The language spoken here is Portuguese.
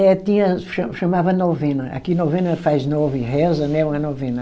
É, tinha, cha chamava novena, aqui novena faz nove, reza, né, uma novena.